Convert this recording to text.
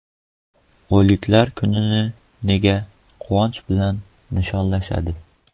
O‘liklar kunini nega quvonch bilan nishonlashadi?